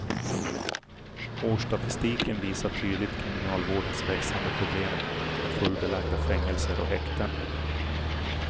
Årsstatistiken visar tydligt kriminalvårdens växande problem med fullbelagda fängelser och häkten.